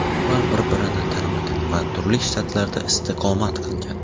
Ular bir-birini tanimagan va turli shtatlarda istiqomat qilgan.